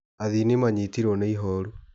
Athii nĩ manyitirwo nĩ ihoru.